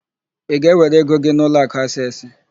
Ị ga-ewere ego gị n'ụlọakụ Aseesị?